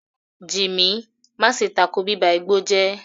Jimmy, má ṣe tako bíba igbó jẹ́!